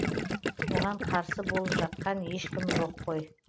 оған қарсы болып жатқан ешкім жоқ қой